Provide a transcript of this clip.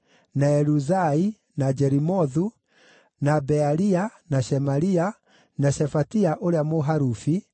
na Eluzai, na Jerimothu, na Bealia, na Shemaria, na Shefatia ũrĩa Mũharufi;